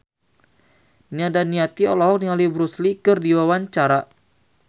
Nia Daniati olohok ningali Bruce Lee keur diwawancara